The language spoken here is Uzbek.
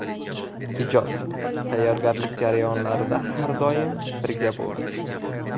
Ijod, tayyorgarlik jarayonlarida har doim birga bo‘ldik.